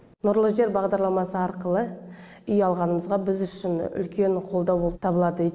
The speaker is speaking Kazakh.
нұрлы жер бағдарламасы арқылы үй алғанымызға біз үшін үлкен қолдау болып табылады